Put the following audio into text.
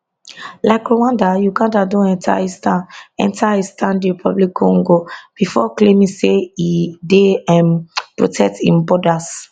like rwanda uganda don enta eastern enta eastern dr congo before claiming say e dey um protect im borders